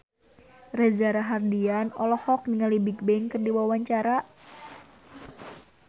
Reza Rahardian olohok ningali Bigbang keur diwawancara